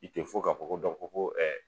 I tɛ fo k'a fɔ ko ko dɔ ko ko